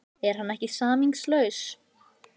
Er hann ekki samningslaus?